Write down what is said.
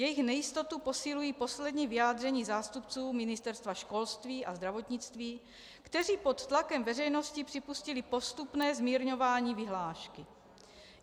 Jejich nejistotu posilují poslední vyjádření zástupců ministerstev školství a zdravotnictví, kteří pod tlakem veřejnosti připustili postupné zmírňování vyhlášky.